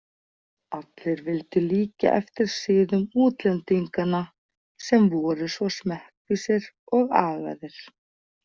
Allir vildu líkja eftir siðum útlendinganna sem voru svo smekkvísir og agaðir.